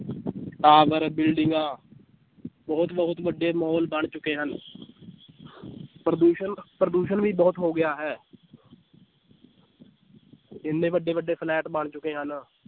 tower ਬਿਲਡਿੰਗਾਂ ਬਹੁਤ ਬਹੁਤ ਵੱਡੇ ਮਾਲ ਬਣ ਚੁੱਕੇ ਹਨ ਪ੍ਰਦੂਸ਼ਣ ਪ੍ਰਦੂਸ਼ਣ ਵੀ ਬਹੁਤ ਹੋ ਗਿਆ ਹੈ ਇੰਨੇ ਵੱਡੇ ਵੱਡੇ ਫਲੈਟ ਬਣ ਚੁੱਕੇ ਹਨ l